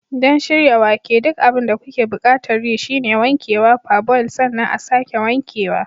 Don shirya wake, duk abin da kuke buƙatar yi shine wankewa, parboil, sannan a'sake wankewa.